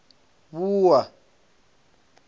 wua